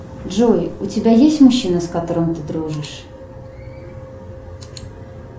джой у тебя есть мужчина с которым ты дружишь